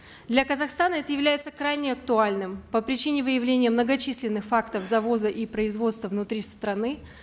для казахстана это является крайне актуальным по причине выявления многочисленных фактов завоза и производства внутри страны